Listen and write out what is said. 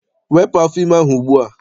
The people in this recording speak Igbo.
Wepụ afọ ime ahụ ugbua!